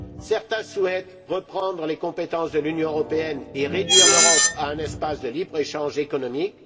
Certains souhaitent reprendre les compétences de l'Union européenne et réduire l'Europe à un espace de libre échange économique.